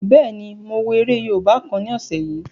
Bẹ́ẹ̀ni, mo wo eré yóòbá kan ní ọ̀sẹ̀ yìí